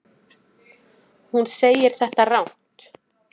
Hún segir þetta rangt.